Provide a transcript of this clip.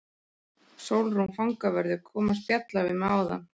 Sólrún fangavörður kom að spjalla við mig áðan.